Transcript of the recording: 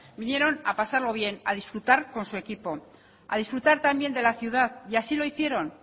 vinieron a pasarlo bien a disfrutar con su equipo a disfrutar también de la ciudad y así lo hicieron